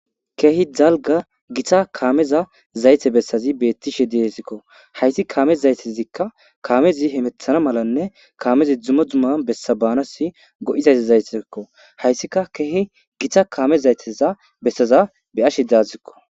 ke'hi dalgga gita kameza zayte bessazi bettishshe de'sikko haysi kaame zaytezikka kaamezi hemeththa malanne kaamezi dummo dumma bessa baanasi go'iza zaytezakko hayssikka ke'hi gita kaame zayteza bessaza be'ashshe de'awussiko